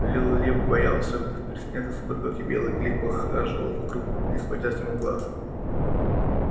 лил лип бился в предсмертных судорогах а белый клык похаживал вокруг не сводя с него глаз